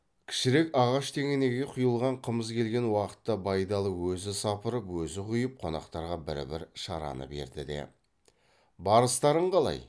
кішірек ағаш тегенеге құйылған қымыз келген уақытта байдалы өзі сапырып өзі құйып қонақтарға бір бір шараны берді де барыстарың қалай